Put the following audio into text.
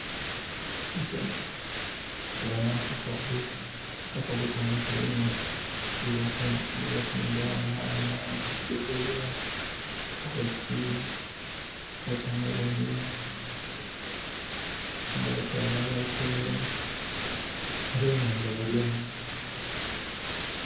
Tuboona akatale, akatale kano kalimu bye batundha, enhaanha, bogoya, carrot, watermelon, n' abakyala ababitunda bona nga bali omwo.